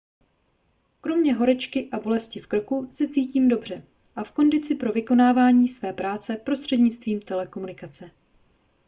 kromě horečky a bolesti v krku se cítím dobře a v kondici pro vykonávání své práce prostřednictvím telekomunikace